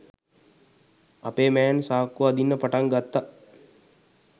අපේ මෑන් සාක්කු අදින්න පටන් ගත්ත.